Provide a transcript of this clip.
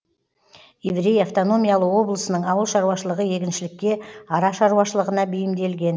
еврей автономиялы облысының ауыл шаруашылығы егіншілікке ара шаруашылығына бейімделген